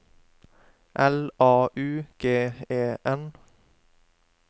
L A U G E N